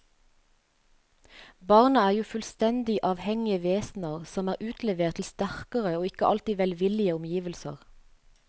Barna er jo fullstendig avhengige vesener som er utlevert til sterkere og ikke alltid velvillige omgivelser.